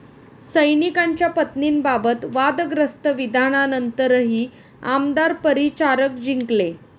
सैनिकांच्या पत्नींबाबत वादग्रस्त विधानानंतरही आमदार परिचारक जिंकले